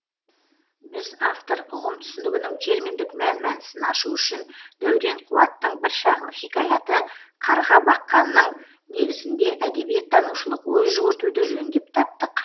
біз автор ұғым түсінігінің терминдік мән мәнісін ашу үшін дәурен қуаттың бір шағын хикаяты қарға баққанның негізінде әдебиеттанушылық ой жүгіртуді жөн деп таптық